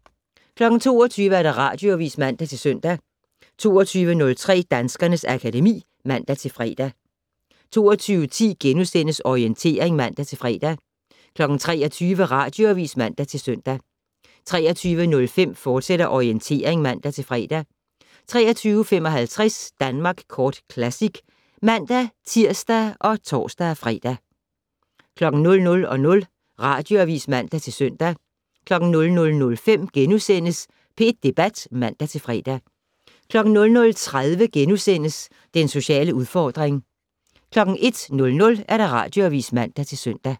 22:00: Radioavis (man-søn) 22:03: Danskernes akademi (man-fre) 22:10: Orientering *(man-fre) 23:00: Radioavis (man-søn) 23:05: Orientering, fortsat (man-fre) 23:55: Danmark Kort Classic (man-tir og tor-fre) 00:00: Radioavis (man-søn) 00:05: P1 Debat *(man-fre) 00:30: Den sociale udfordring * 01:00: Radioavis (man-søn)